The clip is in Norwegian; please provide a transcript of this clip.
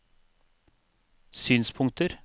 synspunkter